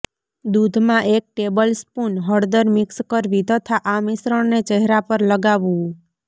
દૂધમાં એક ટેબલસ્પૂન હળદર મિક્સ કરવી તથા આ મિશ્રણને ચહેરા પર લગાવવું